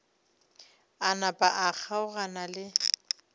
a napa a kgaogana le